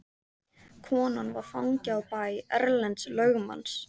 Konan var fangi á bæ Erlends lögmanns.